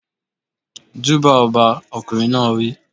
Júbà ọba! Ọkùnrin náà wí.